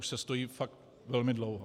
Už se stojí fakt velmi dlouho.